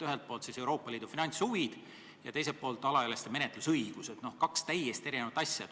Ühelt poolt Euroopa Liidu finantshuvid ja teiselt poolt alaealiste isikute menetlusõigused, kaks täiesti erinevat asja.